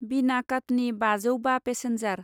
बिना काटनि बाजौ बा पेसेन्जार